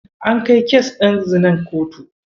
An kai kes ɗin zinar kotu.